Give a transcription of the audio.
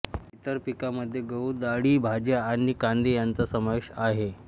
इतर पिकांमध्ये गहू डाळी भाज्या आणि कांदे यांचा समावेश आहे